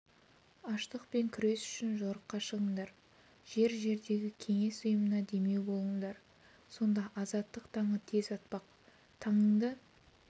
аштықпен күрес үшін жорыққа шығыңдар жер-жердегі кеңес ұйымына демеу болыңдар сонда азаттық таңы тез атпақ таңыңды